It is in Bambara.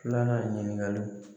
Nana ɲininkaliw